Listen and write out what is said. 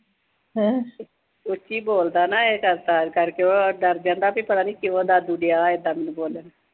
ਉੱਚੀ ਬੋਲਦਾ ਨਾ, ਆਏਂ ਕਰ-ਕਰ ਕੇ, ਉਹ ਡਰ ਜਾਂਦਾ ਵੀ ਪਤਾ ਨੀਂ ਕਿਉਂ ਦਾਦੂ ਡਿਆ ਐਦਾਂ ਮੈਨੂੰ ਬੋਲਣ।